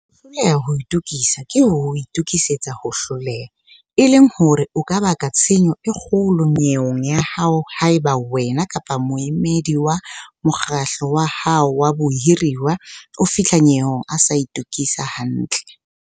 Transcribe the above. "Ho hloleha ho itokisa ke ho itokisetsa ho hloleha", e leng hore o ka baka tshenyo e kgolo nyeweng ya hao haeba wena kapa moemedi wa mokgatlo wa hao wa bahiruwa a fihla nyeweng a sa itokisa hantle.